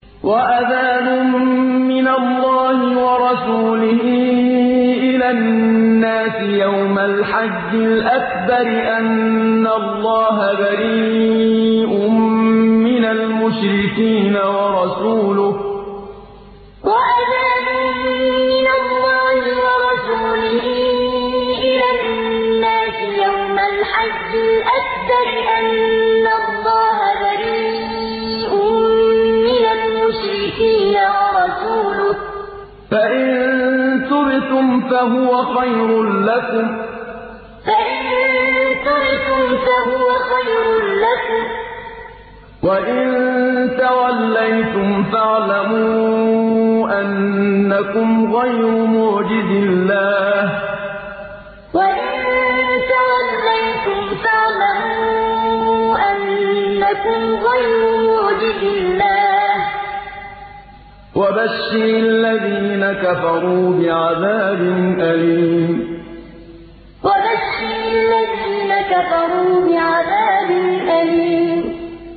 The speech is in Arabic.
وَأَذَانٌ مِّنَ اللَّهِ وَرَسُولِهِ إِلَى النَّاسِ يَوْمَ الْحَجِّ الْأَكْبَرِ أَنَّ اللَّهَ بَرِيءٌ مِّنَ الْمُشْرِكِينَ ۙ وَرَسُولُهُ ۚ فَإِن تُبْتُمْ فَهُوَ خَيْرٌ لَّكُمْ ۖ وَإِن تَوَلَّيْتُمْ فَاعْلَمُوا أَنَّكُمْ غَيْرُ مُعْجِزِي اللَّهِ ۗ وَبَشِّرِ الَّذِينَ كَفَرُوا بِعَذَابٍ أَلِيمٍ وَأَذَانٌ مِّنَ اللَّهِ وَرَسُولِهِ إِلَى النَّاسِ يَوْمَ الْحَجِّ الْأَكْبَرِ أَنَّ اللَّهَ بَرِيءٌ مِّنَ الْمُشْرِكِينَ ۙ وَرَسُولُهُ ۚ فَإِن تُبْتُمْ فَهُوَ خَيْرٌ لَّكُمْ ۖ وَإِن تَوَلَّيْتُمْ فَاعْلَمُوا أَنَّكُمْ غَيْرُ مُعْجِزِي اللَّهِ ۗ وَبَشِّرِ الَّذِينَ كَفَرُوا بِعَذَابٍ أَلِيمٍ